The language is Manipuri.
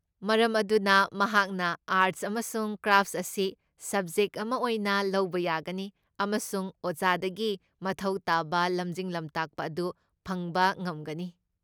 ꯃꯔꯝ ꯑꯗꯨꯅ ꯃꯍꯥꯛꯅ ꯑꯥꯔꯠꯁ ꯑꯃꯁꯨꯡ ꯀ꯭ꯔꯥꯐꯠꯁ ꯑꯁꯤ ꯁꯕꯖꯦꯛꯠ ꯑꯃ ꯑꯣꯏꯅ ꯂꯧꯕ ꯌꯥꯒꯅꯤ ꯑꯃꯁꯨꯡ ꯑꯣꯖꯥꯗꯒꯤ ꯃꯊꯧ ꯇꯥꯕ ꯂꯝꯖꯤꯡ ꯂꯝꯇꯥꯛꯄ ꯑꯗꯨ ꯐꯪꯕ ꯉꯝꯒꯅꯤ꯫